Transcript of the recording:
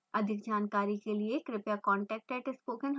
अधिक जानकारी के लिए कृपया contact @spokentutorial org पर लिखें